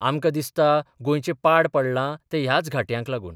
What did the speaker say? आमकां दिसता गोंयचें पाड पडलां तें ह्याच घाटयांक लागून.